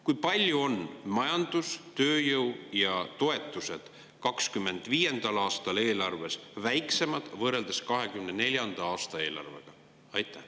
Kui palju on majandus‑, tööjõu ja toetused 2025. aastal eelarves väiksemad võrreldes 2024. aasta eelarvega?